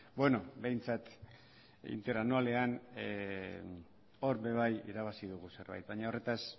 beno behintzat interanualean hor be bai irabazi dugu zerbait baina horretaz